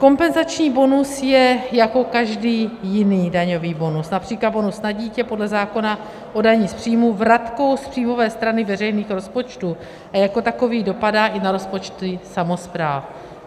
Kompenzační bonus je jako každý jiný daňový bonus, například bonus na dítě, podle zákona o dani z příjmů vratkou z příjmové strany veřejných rozpočtů a jako takový dopadá i na rozpočty samospráv.